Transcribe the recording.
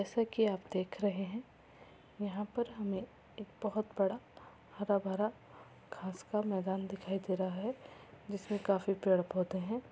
जैसा कि आप देख रहे हे यहा पर हमे एक बोहुत बड़ा हरा-भरा घास का मैदान दिखाय दे रहा हे जिसमे काफी पेड़ पौधे हैं।